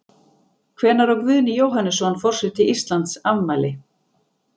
Hvenær á Guðni Jóhannesson, forseti Íslands, afmæli?